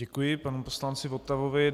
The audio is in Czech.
Děkuji panu poslanci Votavovi.